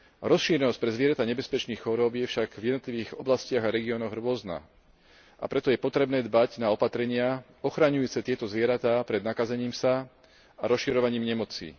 Rozšírenosť pre zvieratá nebezpečných chorôb je však v jednotlivých oblastiach a regiónoch rôzna, a preto je potrebné dbať na opatrenia ochraňujúce tieto zvieratá pred nakazením sa a rozširovaním nemoci.